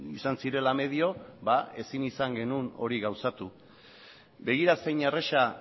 izan zirela medio ezin izan genuen hori gauzatu begira zein erraza